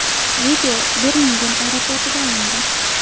Video Birmingem aeroportida olingan.